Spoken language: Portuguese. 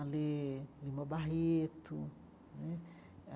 a ler Lima Barreto né.